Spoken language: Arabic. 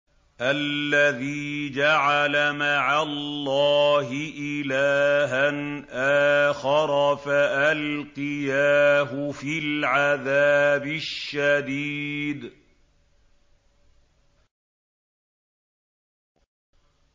الَّذِي جَعَلَ مَعَ اللَّهِ إِلَٰهًا آخَرَ فَأَلْقِيَاهُ فِي الْعَذَابِ الشَّدِيدِ